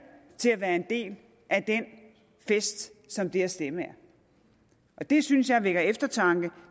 til at være en del af den fest som det at stemme er det synes jeg vækker til eftertanke